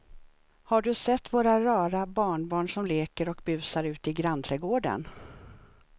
Har du sett våra rara barnbarn som leker och busar ute i grannträdgården!